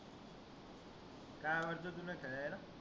काय आवडतं तुला खेळायला?